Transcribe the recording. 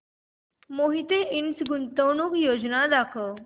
मोहिते इंड गुंतवणूक योजना दाखव